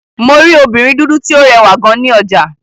Mo rí obìnrin dúdú tí ó rẹwà gan ní ọjà.